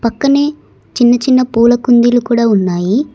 పక్కనే చిన్న చిన్న పూల కుందీలు కూడ ఉన్నాయి.